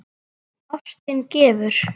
Ástin gefur.